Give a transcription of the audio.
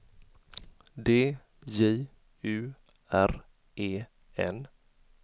D J U R E N